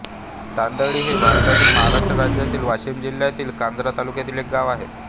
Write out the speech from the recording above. तांडळी हे भारतातील महाराष्ट्र राज्यातील वाशिम जिल्ह्यातील कारंजा तालुक्यातील एक गाव आहे